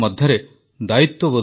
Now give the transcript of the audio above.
ମୋର ପ୍ରିୟ ଦେଶବାସୀଗଣ ନମସ୍କାର